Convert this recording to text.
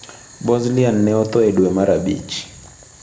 Bozlian ne otho e dwe mar abich.